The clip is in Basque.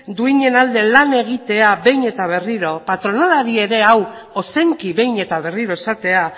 duinen alde lan egitea behin eta berriro patronalari ere hau ozenki behin eta berriro esatea